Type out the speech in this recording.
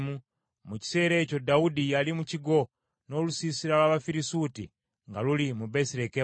Mu kiseera ekyo Dawudi yali mu kigo, n’olusiisira lw’Abafirisuuti nga luli mu Besirekemu.